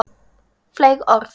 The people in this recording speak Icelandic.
Fleyg orð.